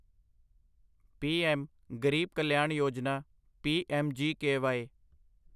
PM Garib Kalyan Yojana PMGKY